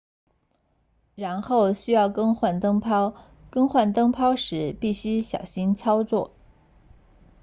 然后需要更换灯泡更换灯泡时必须小心操作